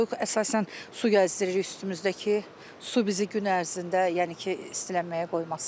Soyuq əsasən su gəzdiririk üstümüzdə ki, su bizi gün ərzində, yəni ki, istilənməyə qoymasın.